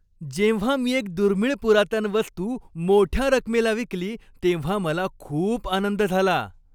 जेव्हा मी एक दुर्मिळ पुरातन वस्तू मोठ्या रकमेला विकली तेव्हा मला खूप आनंद झाला.